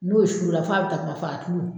N'o surula f'a bi takuma faa